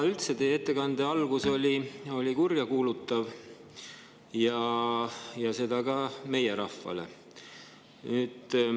Teie ettekande algus oli kurjakuulutav, seda ka meie rahvale.